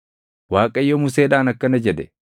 Waaqayyo Museedhaan akkana jedhe;